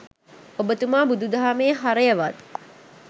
ඔබතුමා බුදු දහමේ හරයවත්